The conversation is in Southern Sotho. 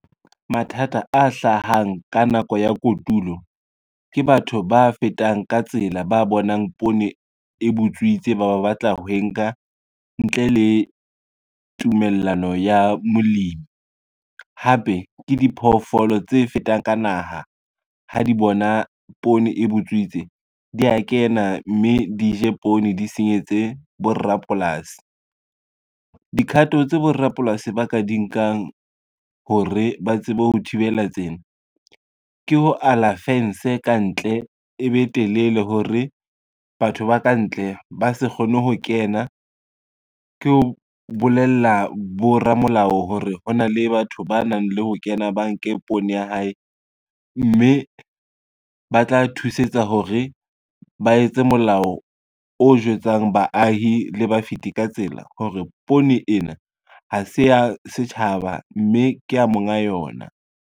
Mathata a hlahang ka nako ya kotulo, ke batho ba fetang ka tsela ba bonang poone e butswitse ba batla ho e nka ntle le tumellano ya molemi. Hape ke diphoofolo tse fetang ka naha ha di bona poone e butswitse di ya kena, mme di je poone di senyetse borapolasi. Dikhato tse borapolasi ba ka di nkang hore ba tsebe ho thibela tsena, ke ho ala fence kantle e be telele, hore batho ba kantle ba se kgone ho kena, ke ho bolella boramolao hore hona le batho ba nang le ho kena ba nke poone ya hae, mme ba tla thusetsa hore ba etse molao o jwetsang baahi le ba fiti ka tsela hore poone ena ha se ya setjhaba, mme kea monga yona.